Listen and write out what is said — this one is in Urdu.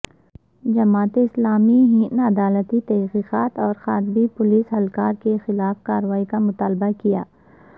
جماعت اسلامی ہند عدالتی تحقیقات اور خاطی پولس اہلکار کے خلاف کارروائی کا مطالبہ کیا